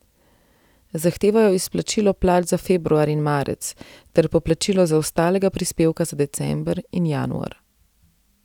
Zahtevajo izplačilo plač za februar in marec ter poplačilo zaostalega prispevka za december in januar.